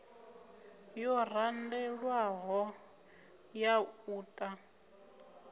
yo randelwaho ya u ta